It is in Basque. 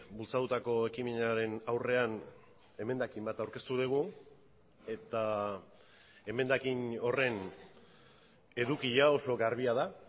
bultzatutako ekimenaren aurrean emendakin bat aurkeztu dugu eta emendakin horren edukia oso garbia da